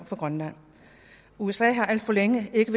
for grønland usa har alt for længe ikke